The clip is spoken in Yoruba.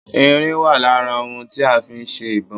Irin wà lára ohun tí a fi ń ṣe ìbọn